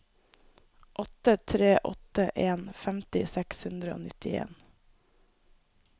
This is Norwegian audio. åtte tre åtte en femti seks hundre og nittien